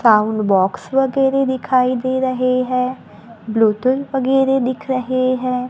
Sound box वगैरे दिखाई दे रहे है ब्लूटूथ वगैरे दिख रहे है।